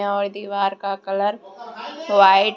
और दीवार का कलर व्हाइट ।